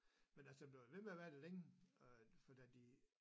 Men altså den blev ved med at være der længe for da de